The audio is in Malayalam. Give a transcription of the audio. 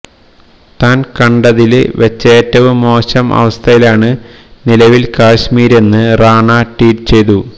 താന് കണ്ടതില് വെച്ചേറ്റവും മോശം അവസ്ഥയിലാണ് നിലവില് കശ്മീരെന്ന് റാണ ട്വീറ്റ് ചെയ്തു